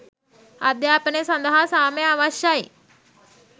අධ්‍යාපනය සඳහා සාමය අවශ්‍යයි.